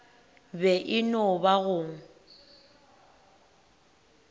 be e no ba go